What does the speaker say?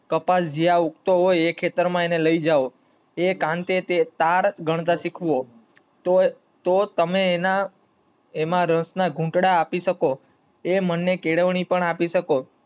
કપાલ જ્યાં ઉગતો હોય ત્યાં એને લઇ જાવ, એ કાંટે તે તાર ગણતા શીખવો, તો તમે એમાં રસ ના ઘૂંટડા આપી શકો, એ મનને કેળવણી આપી શકો.